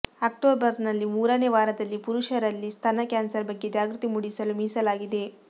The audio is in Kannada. ಅಕ್ಟೋಬರ್ನಲ್ಲಿ ಮೂರನೇ ವಾರದಲ್ಲಿ ಪುರುಷರಲ್ಲಿ ಸ್ತನ ಕ್ಯಾನ್ಸರ್ ಬಗ್ಗೆ ಜಾಗೃತಿ ಮೂಡಿಸಲು ಮೀಸಲಾಗಿದೆ